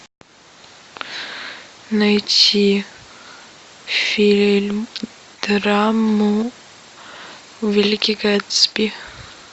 найти фильм драму великий гэтсби